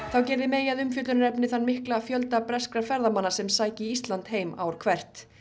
þá gerði May að umfjöllunarefni þann mikla fjölda breskra ferðamanna sem sæki Ísland heim ár hvert